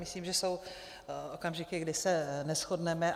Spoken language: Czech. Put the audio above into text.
Myslím, že jsou okamžiky, kdy se neshodneme.